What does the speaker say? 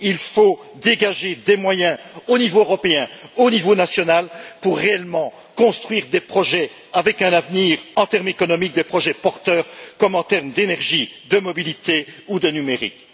Il faut dégager des moyens au niveau européen et au niveau national pour réellement construire des projets avec un avenir en termes économiques, des projets porteurs comme en termes d'énergie, de mobilité ou de numérique.